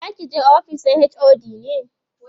zakije ofis na HOD ne?